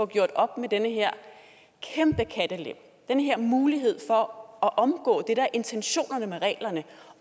gjort op med den her kæmpe kattelem den her mulighed for at omgå det der er intentionerne med reglerne